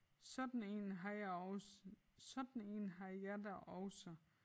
Sådan én har jeg også sådan én har jeg da også